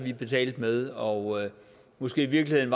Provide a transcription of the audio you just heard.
betalte med og måske i virkeligheden